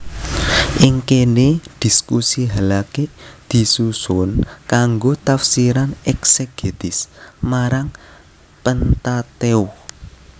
Ing kene diskusi halakhik disusun kanggo tafsiran eksegetis marang Pentateukh